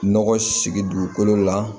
Nɔgɔ sigi dugukolo la